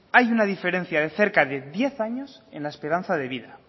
hay una diferencia de cerca de diez años en la esperanza de vida